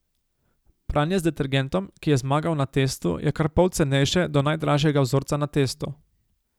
Pranje z detergentom, ki je zmagal na testu, je kar pol cenejše do najdražjega vzorca na testu.